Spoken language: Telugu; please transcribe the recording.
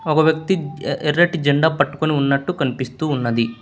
ఒక వ్యక్తి ఎర్ర్ ఎర్ ఎర్రటి జెండా పట్టుకుని ఉన్నట్టు కనిపిస్తూ ఉన్నది.